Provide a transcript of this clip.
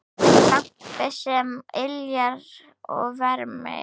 Lampi sem yljar og vermir.